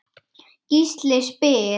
Gísli spyr